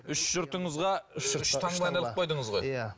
үш жұртыңызға үш таңбаны іліп қойдыңыз ғой иә